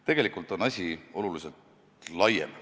Tegelikult on asi oluliselt laiem.